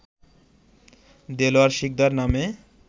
দেলোয়ার শিকদার নামে